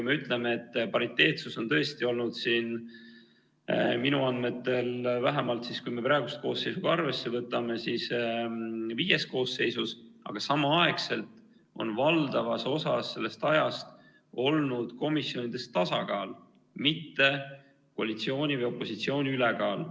Ütleme, et pariteetsus on tõesti olnud, vähemalt minu andmetel, kui me praeguse koosseisu ka arvesse võtame, viies koosseisus, aga samal ajal on valdavas osas sellest ajast olnud komisjonides tasakaal, mitte koalitsiooni või opositsiooni ülekaal.